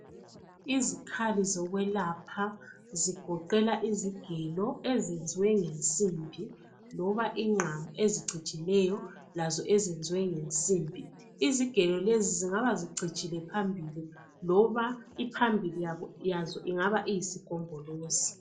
Izikhali zokwelapha zigoqela izigelo ezenziwe ngensimbi loba izingqamu ezicijileyo lazo ezenziwe ngensimbi. Izigelo lezi zingaba zicijile phambili loba iphambili yazo ingaba iyisigombolozi.